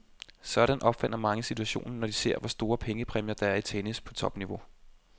Sådan opfatter mange situationen, når man ser, hvor store pengepræmier, der er i tennis på topniveau.